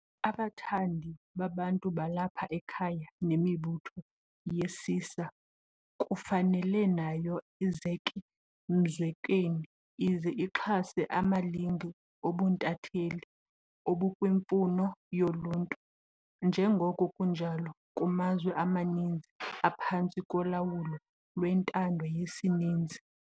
Abathandi babantu balapha ekhaya nemibutho yesisa kufanele nayo izeke mzekweni ize ixhase amalinge obuntatheli obukwimfuno yoluntu, njengoko kunjalo kumazwe amaninzi aphantsi kolawulo lwentando yesininzi.